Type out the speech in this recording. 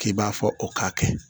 K'i b'a fɔ o k'a kɛ